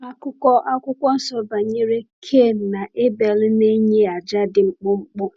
Akụkọ Akwụkwọ Nsọ banyere Kain na Abel na-enye àjà dị mkpụmkpụ.